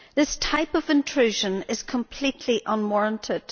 This type of intrusion is completely unwarranted.